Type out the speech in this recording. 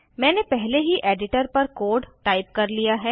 मैंने पहले ही एडिटर पर कोड टाइप कर लिया है